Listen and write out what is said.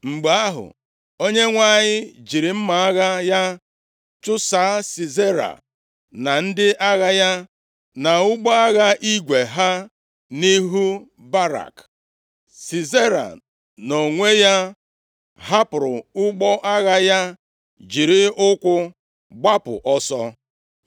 Mgbe ahụ, Onyenwe anyị jiri mma agha ya chụsaa Sisera na ndị agha ya na ụgbọ agha igwe ha nʼihu Barak. Sisera nʼonwe ya hapụrụ ụgbọ agha ya jiri ụkwụ gbapụ ọsọ.